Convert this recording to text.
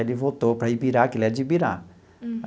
Ele voltou para Ibirá, que ele é de Ibirá.